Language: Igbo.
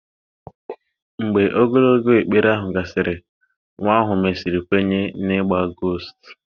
Mgbe ogologo ekpere ahụ gasịrị, nwa ahụ mesịrị kwenye n'ịgba gost